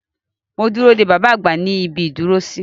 Mo dúró dé bàbá àgbà ní ibi ìdúró sí.